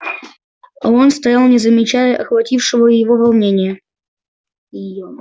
а он стоял не замечая охватившего его волнения её